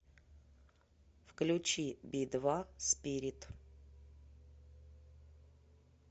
включи би два спирит